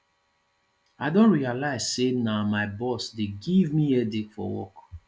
i don realize say na my boss dey give me headache for work